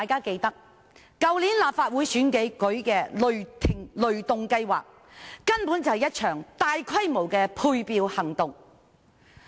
去年立法會選舉的雷動計劃，根本就是一場大規模的配票行動。